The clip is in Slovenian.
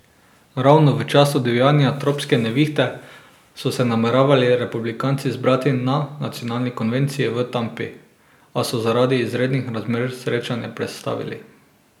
Ravno v času divjanja tropske nevihte so se nameravali republikanci zbrati na nacionalni konvenciji v Tampi, a so zaradi izrednih razmer srečanje prestavili.